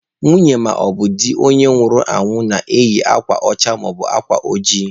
Nwunye maọbụ di onye nwụrụ anwụ na-eyi akwa ọcha maọbụ akwa ojii.